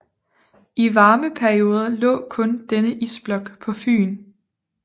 I varme perioder lå kun denne isblok på Fyn